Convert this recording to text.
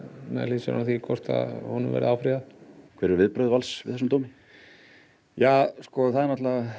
með hliðsjón af því hvort honum verði áfrýjað hver eru viðbrögð Vals við þessum dómi það er